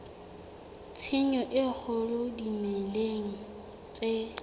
tshenyo e kgolo dimeleng tse